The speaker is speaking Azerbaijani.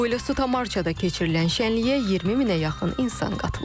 Buyelasu Tamarçada keçirilən şənliyə 20 minə yaxın insan qatılıb.